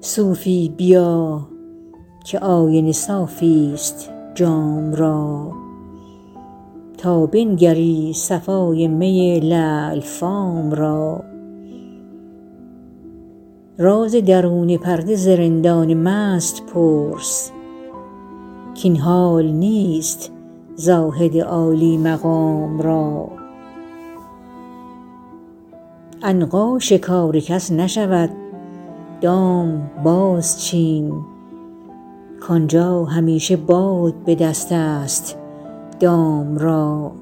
صوفی بیا که آینه صافی ست جام را تا بنگری صفای می لعل فام را راز درون پرده ز رندان مست پرس کاین حال نیست زاهد عالی مقام را عنقا شکار کس نشود دام بازچین کآنجا همیشه باد به دست است دام را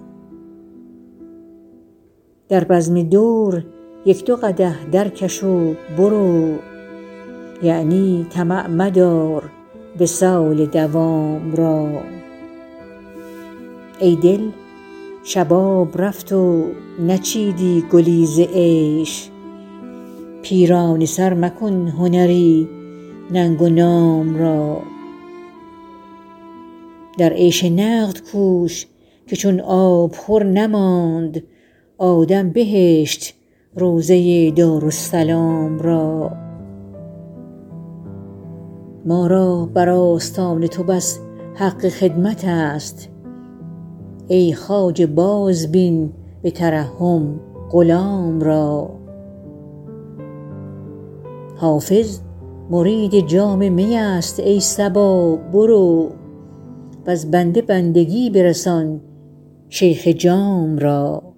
در بزم دور یک دو قدح درکش و برو یعنی طمع مدار وصال مدام را ای دل شباب رفت و نچیدی گلی ز عیش پیرانه سر مکن هنری ننگ و نام را در عیش نقد کوش که چون آبخور نماند آدم بهشت روضه دارالسلام را ما را بر آستان تو بس حق خدمت است ای خواجه بازبین به ترحم غلام را حافظ مرید جام می است ای صبا برو وز بنده بندگی برسان شیخ جام را